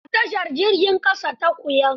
A tashar jirgin ƙasa ta Kuyan.